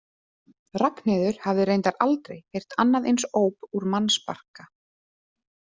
Ragnheiður hafði reyndar aldrei heyrt annað eins óp úr mannsbarka.